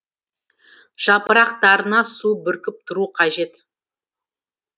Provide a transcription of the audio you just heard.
жапырақтарына су бүркіп тұру қажет